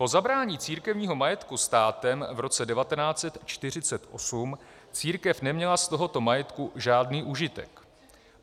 Po zabrání církevního majetku státem v roce 1948 církev neměla z tohoto majetku žádný užitek.